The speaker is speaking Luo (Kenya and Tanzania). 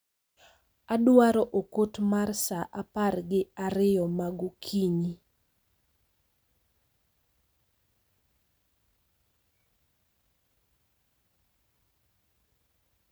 Adwaro okot mar saa apar gi ariyo ma gokinyi.